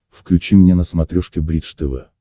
включи мне на смотрешке бридж тв